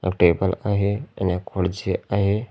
आणि टेबल आहे आणि एक खुडची आहे.